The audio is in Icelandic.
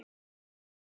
kurrar Lena.